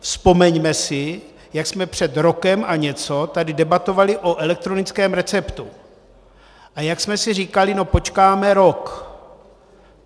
Vzpomeňme si, jak jsme před rokem a něco tady debatovali o elektronickém receptu a jak jsme si říkali, no počkáme rok.